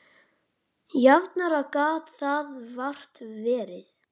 Jafnara gat það vart verið.